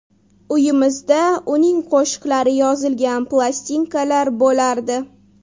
Uyimizda uning qo‘shiqlari yozilgan plastinkalar bo‘lardi.